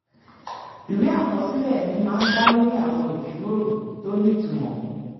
ìwé àkọsílẹ̀ mi máa ń dá lórí àwọn ìjíròrò tó nítumọ̀